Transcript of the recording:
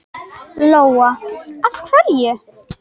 Lóa: Af hverju?